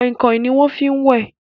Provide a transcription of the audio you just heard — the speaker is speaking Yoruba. Kọ̀ìkọ̀ìn ni wọ́n fi ń wẹ̀